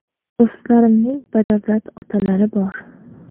Do‘stlarimning badavlat otalari bor.